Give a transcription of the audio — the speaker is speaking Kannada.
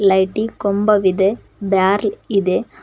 ಲೈಟಿ ಕೊಂಬ ವಿದೆ ಬ್ಯಾರ್ಲ್ ಇದೆ.